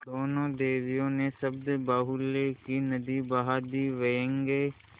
दोनों देवियों ने शब्दबाहुल्य की नदी बहा दी व्यंग्य